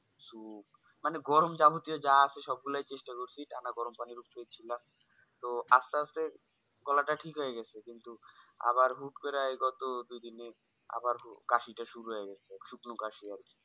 Soup মানে গরম যাবতীয় যা আছে সব গুলাই চেষ্টা করছি টানা গরম পানি তো আস্তে আস্তে গলাটা ঠিক হয়ে গেছে কিন্তু আবার হুট্ করে এই গত দুদিনে আবার কাশি টা শুরু হয়ে গেছে শুকনো কাশি আরকি।